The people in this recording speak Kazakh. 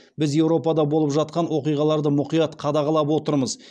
біз еуропада болып жатқан оқиғаларды мұқият қадағалап отырамыз